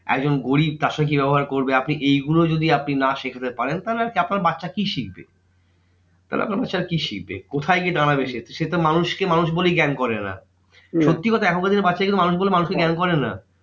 একজন গরিব তারসঙ্গে কি ব্যবহার করবে? আপনি এইগুলো যদি আপনি না শেখাতে পারেন, তাহলে আপনার বাচ্চা কি শিখবে? তাহলে আপনার বাচ্চা কি শিখবে? কোথায় গিয়ে দাঁড়াবে সে? সে তো মানুষ কে মানুষ বলেই জ্ঞান করে না। সত্যিকথা এখনকার দিনে বাচ্চা মানুষ কে মানুষ বলে জ্ঞান করে না।